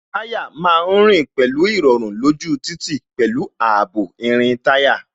Táyà má ń rìn pẹ̀lú irọrun lójú títì, pẹ̀lú ààbò irin táyà